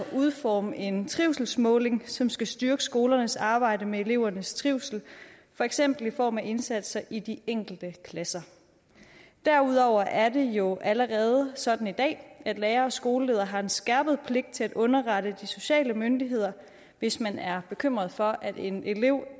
udforme en trivselsmåling som skal styrke skolernes arbejde med elevernes trivsel for eksempel i form af indsatser i de enkelte klasser derudover er det jo allerede sådan i dag at lærere og skoleledere har en skærpet pligt til at underrette de sociale myndigheder hvis man er bekymret for at en elev er